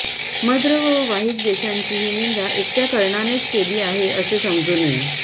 मद्र व वाहीक देशांची ही निंदा एकट्या कर्णानेच केली आहे असे समजू नये